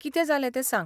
कितें जालें तें सांग.